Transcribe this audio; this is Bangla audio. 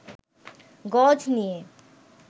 গজ নিয়ে